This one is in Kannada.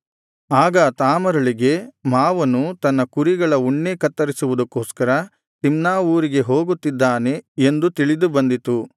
ಆಗ ತಾಮಾರಳಿಗೆ ಮಾವನು ತನ್ನ ಕುರಿಗಳ ಉಣ್ಣೇ ಕತ್ತರಿಸುವುದಕ್ಕೋಸ್ಕರ ತಿಮ್ನಾ ಊರಿಗೆ ಹೋಗುತ್ತಿದ್ದಾನೆ ಎಂದು ತಿಳಿದು ಬಂದಿತು